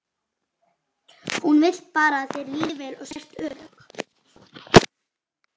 Hún vill bara að þér líði vel og sért örugg.